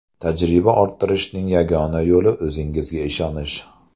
Tajriba orttirishning yagona yo‘li o‘zingga ishonish.